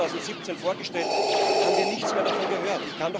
Im März 2017 vorgestellt, haben wir nichts mehr davon gehört.